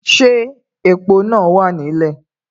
Ṣé epo náà wà nílẹ̀.